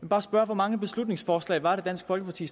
bare spørge hvor mange beslutningsforslag var det dansk folkeparti